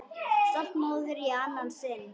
Stolt móðir í annað sinn.